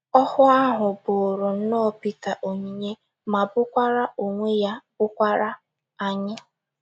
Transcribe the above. Ọhụụ ahụ bụụrụ nnọọ Pita onyinye magburu onwe ya, bụkwaara anyị!